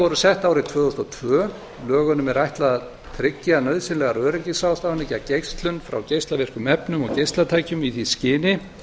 voru sett árið tvö þúsund og tvö lögunum er ætlað að tryggja nauðsynlegar öryggisráðstafanir gegn geislun frá geislavirkum efnum og geislatækjum í því skyni